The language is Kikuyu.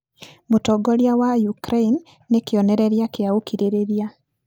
Mũtongoria wa Ukraine nĩ kĩonereria kĩa ũkirĩrĩria.